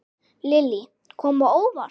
Lillý: Kom á óvart?